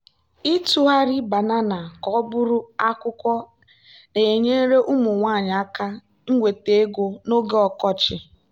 ịtụgharị banana ka ọ bụrụ akwụkwọ na-enyere ụmụ nwanyị aka inweta ego n'oge ọkọchị.